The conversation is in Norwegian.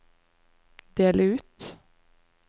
del ut